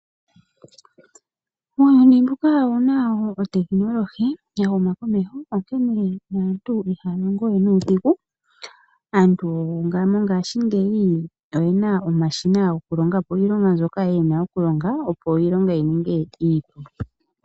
Muuyuni mbuka omu na otekinolohi ya huma komeho, onkene aantu ihaya longo we nuudhigu. Aantu mongashingeyi oye na omashina gokulonga po iilonga mbyoka ya pumbwa okulonga, opo iilonga yi ninge iipu.